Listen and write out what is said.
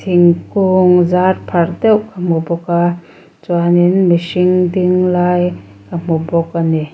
thingkung zarpharh deuh ka hmu bawk a chuanin mihring ding lai ka hmu bawk a ni.